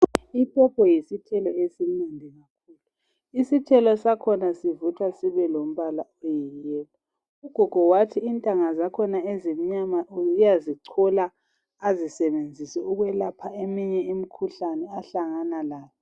Ipopo yisithelo esimnandi kakhulu, isithelo sakhona sivuthwa sibe lombala olithanga. Ugogo wathi intanga zakhona uyazichola azisebenzise ukwelapha eminye imikhuhlane ahlangana layo.